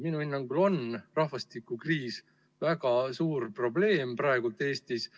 Minu hinnangul on rahvastikukriis väga suur probleem praegu Eestis.